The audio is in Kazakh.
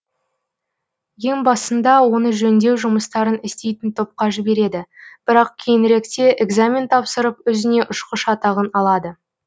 ең басында оны жөңдеу жұмыстарын істейтін топқа жібереді бірақ кейініректе экзамен тапсырып өзіне ұшқыш атағын алады